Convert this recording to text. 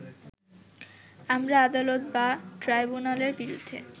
আমরা আদালত বা ট্রাইব্যুনালের বিরুদ্ধে